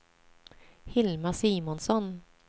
Hilma Simonsson